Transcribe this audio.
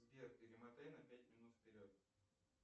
сбер перемотай на пять минут вперед